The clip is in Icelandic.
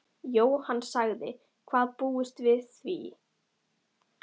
Jóhann: Hvað búist þið við að vera stopp lengi?